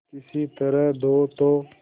किसी तरह दो तो